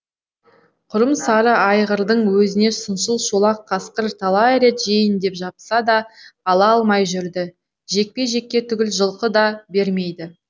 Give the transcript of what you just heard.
құрым сары айғырдың өзіне сыншыл шолақ қасқыр талай рет жейін деп шапса да ала алмай жүрді жекпе жекке түгіл жылқы да бермейді